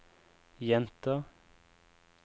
jenter